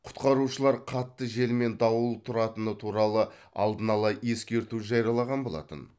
құтқарушылар қатты жел мен дауыл тұратыны туралы алдын ала ескерту жариялаған болатын